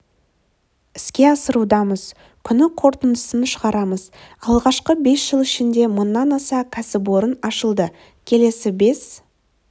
іске асырудамыз күні қорытындысын шығарамыз алғашқы бес жыл ішінде мыңнан аса кәсіпорын ашылды келесі бес